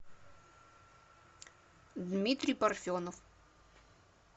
дмитрий парфенов